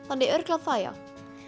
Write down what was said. þannig að örugglega það já